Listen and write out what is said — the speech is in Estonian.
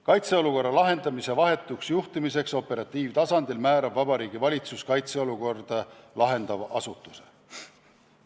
Kaitseolukorra lahendamise vahetuks juhtimiseks operatiivtasandil määrab Vabariigi Valitsus kaitseolukorda lahendava asutuse.